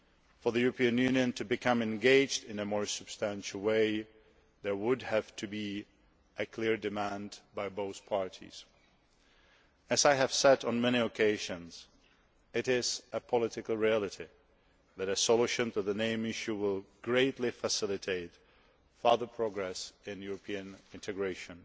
For the European Union to become engaged in a more substantial way there would have to be a clear demand by both parties. As I have said on many occasions, it is a political reality that a solution to the name issue will greatly facilitate further progress in European integration.